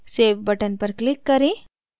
save button पर click करें